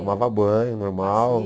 Tomava banho, normal.